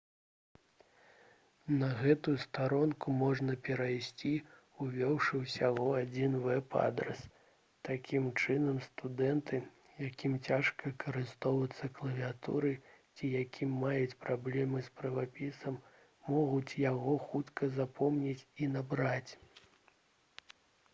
на гэтую старонку можна перайсці увёўшы ўсяго адзін вэб-адрас такім чынам студэнты якім цяжка карыстацца клавіятурай ці якія маюць праблемы з правапісам могуць яго хутка запомніць і набраць